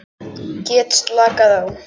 Get slakað á.